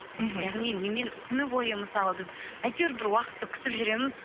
мхм яғни немен күні бойы мысалы біз әйтеуір бір уақытты күтіп жүреміз